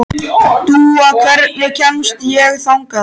Dúa, hvernig kemst ég þangað?